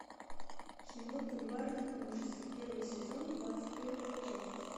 кино бульварные ужасы первый сезон двадцать первая часть